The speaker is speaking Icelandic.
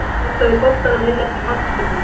Potaði boltanum inn eftir hornspyrnu.